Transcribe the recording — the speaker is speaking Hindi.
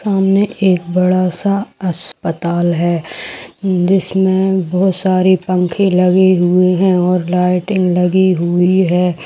सामने एक बड़ा - सा अस्पताल है इंग्लिश में बहुत सारी पंखे लगे हुए है और लाइटें लगी हुई है।